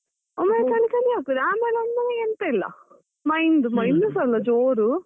ಆಮೇಲೆ ಎಂತ ಇಲ್ಲ ಮೈಂದ್ ಮೈಂದ್ಸ ಅಲ ಜೋರು.